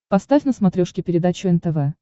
поставь на смотрешке передачу нтв